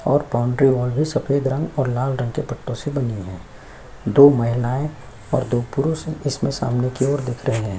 और boundary wall भी सफ़ेद रंग और लाल रंग के पट्टो से बनी है दो महिलाये और दो पुरुष हैं इसमें सामने की ओर दिख रहै है ।